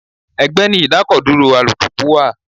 Ẹgbẹ́ ni idakoduro alùpùpù wà.